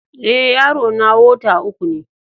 Eh, yaro na wota uku ne.